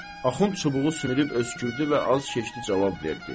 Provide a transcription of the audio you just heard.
Axund çubuğu sümürüb öskürdü və az keçdi cavab verdi.